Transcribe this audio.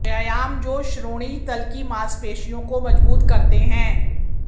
व्यायाम जो श्रोणि तल की मांसपेशियों को मजबूत करते हैं